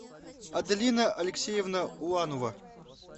аделина алексеевна уланова